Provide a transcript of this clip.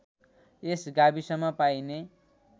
यस गाविसमा पाइने